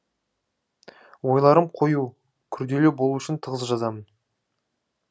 ойларым қою күрделі болу үшін тығыз жазамын